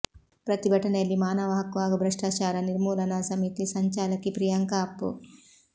ಪ್ರತಿಭಟನೆಯಲ್ಲಿ ಮಾನವ ಹಕ್ಕು ಹಾಗೂ ಭ್ರಷ್ಟಾಚಾರ ನಿರ್ಮೂಲನಾ ಸಮಿತಿ ಸಂಚಾಲಕಿ ಪ್ರಿಯಾಂಕ ಅಪ್ಪು